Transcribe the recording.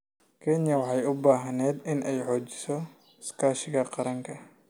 Kenya waxay u baahneyd inay xoojiso iskaashiga qaranka.